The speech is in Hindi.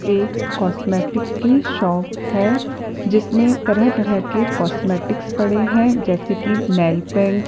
एक कॉस्मेटिक की शॉप है जिसमें तरह तरह के कॉस्मेटिक्स पड़े हैं जैसे की नेलपेंट --